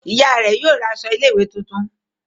Oya rẹ yóò ra aṣọ ilé ìwé títún.